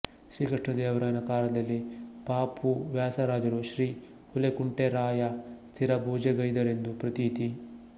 ಶ್ರೀ ಕೃಷ್ಣದೇವರಾಯನ ಕಾಲದಲ್ಲಿ ಪ ಪೂ ವ್ಯಾಸರಾಜರು ಶ್ರೀ ಹುಲಿಕುಂಟೇರಾಯ ಸ್ಥಿರಪೂಜೆಗೈದರೆಂದು ಪ್ರತೀತಿ